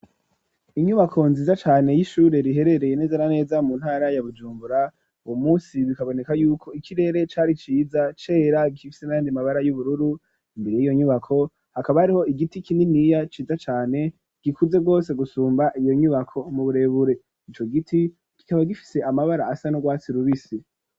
Inyubako nziza cane y'ishure riherereye nezera neza mu ntara ya bujumbura uwo munsi bikaboneka y'uko ikirere cari ciza cera gifise nandi mabara y'ubururu, imbere y 'iyo nyubako hakaba hariho igiti kininiya ciza cane gikuze rwose gusumba iyo nyubako mu burebure ico giti kikaba gifise amabara asa n'urwatsi rubisi.